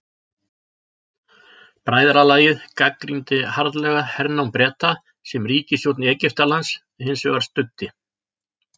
Bræðralagið gagnrýndi harðlega hernám Breta sem ríkisstjórn Egyptalands hins vegar studdi.